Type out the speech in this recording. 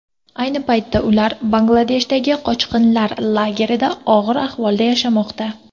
Ayni paytda ular Bangladeshdagi qochqinlar lagerlarida og‘ir ahvolda yashamoqda.